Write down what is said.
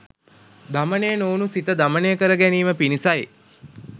දමනය නොවුණු සිත දමනය කරගැනීම පිණිසයි.